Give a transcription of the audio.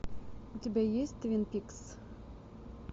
у тебя есть твин пикс